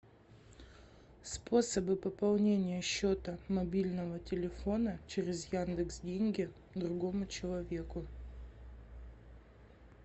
способы пополнения счета мобильного телефона через яндекс деньги другому человеку